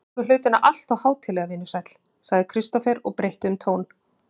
Þú tekur hlutina alltof hátíðlega, vinur sæll, sagði Kristófer og breytti um tón.